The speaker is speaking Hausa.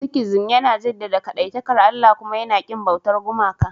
Sikhism yana jaddada kadaitakar Allah kuma yana ƙin bautar gumaka.